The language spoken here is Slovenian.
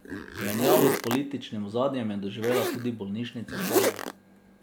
Menjavo s političnim ozadjem je doživela tudi bolnišnica Celje.